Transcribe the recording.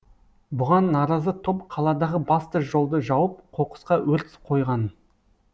бұған наразы топ қаладағы басты жолды жауып қоқысқа өрт қойған